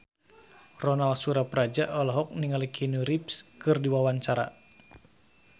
Ronal Surapradja olohok ningali Keanu Reeves keur diwawancara